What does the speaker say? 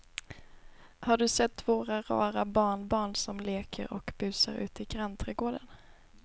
Har du sett våra rara barnbarn som leker och busar ute i grannträdgården!